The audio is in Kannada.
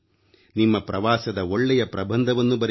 ನಿಮ್ಮ ಪ್ರವಾಸದ ಒಳ್ಳೆಯ ಪ್ರಬಂಧವನ್ನು ಬರೆಯಿರಿ